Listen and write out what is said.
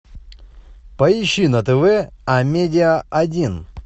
поищи на тв амедиа один